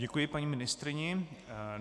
Děkuji paní ministryně.